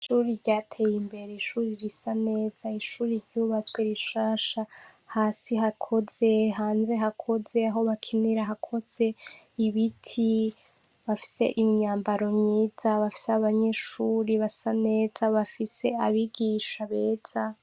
Ishure ryatey'imbere, ishuri risa neza, ishuri ryubatswe rishasha hasi hakoze, hanze hakoze, aho bakinira hakoze, ibiti, bafise imyambaro myiza, bafise abanyeshure basa neza, bafise abigisha beza.